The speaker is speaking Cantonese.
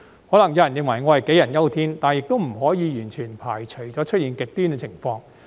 可能有人認為我杞人憂天，但亦不可以完全排除會出現極端的情況。